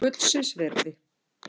Gullsins virði.